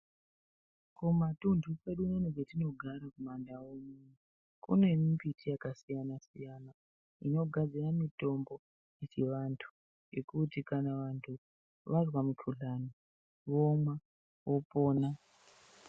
Kumatunthu kwedu unono kwetinogara kumandau uno ,kune mimbiti yakasiyana-siyana, inogadzira mitombo yechivantu ,yekuti kana vantu vazwa mukhuhlani ,vomwa vopona.